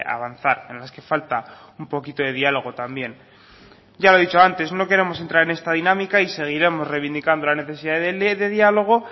avanzar en las que falta un poquito de diálogo también ya lo he dicho antes no queremos entrar en esta dinámica y seguiremos reivindicando la necesidad de diálogo